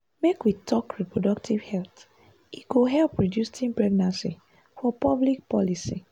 make we talk reproductive health e go help reduce teen pregnancy for public policy.